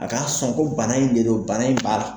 A ka sɔn ko bana in de do bana in bala